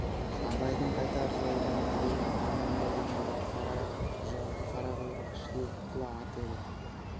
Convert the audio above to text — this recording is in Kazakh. абайдың қайтар жолда мінбегі аймаңдай деген бір қара жал қара құйрық сұлу құла ат еді